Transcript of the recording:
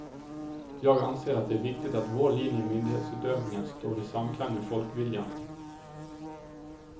Jag anser att det är viktigt att vår linje i myndighetsutövningen står i samklang med folkviljan.